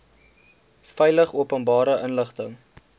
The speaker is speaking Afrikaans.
veilig openbare inligting